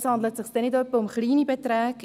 Es handelt sich nicht etwa um kleine Beträge.